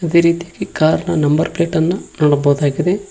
ಅದೇ ರೀತಿಯಾಗಿ ಕಾರ್ ನ ನಂಬರ್ ಪ್ಲೇಟ್ ಅನ್ನ ನೋಡಬಹುದಾಗಿದೆ.